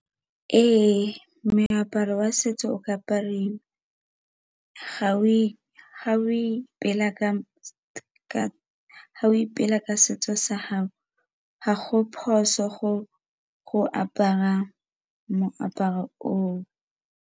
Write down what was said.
Ee, moaparo wa setso o ka apariwa ga o ipela ka setso sa hao ga go phoso go apara moaparo oo.